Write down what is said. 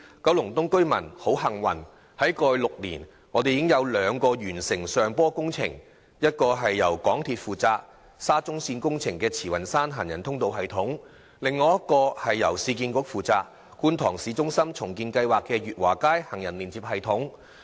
九龍東居民很幸運，過去6年已有兩項上坡工程竣工，一項是由港鐵公司負責、沙中線工程中的慈雲山行人通道系統；另一項是由市區重建局負責、觀塘市中心重建計劃的月華街行人連接系統。